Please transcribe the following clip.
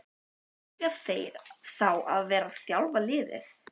Eiga þeir þá að vera að þjálfa liðið?